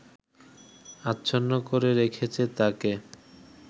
আচ্ছন্ন করে রেখেছে তাকে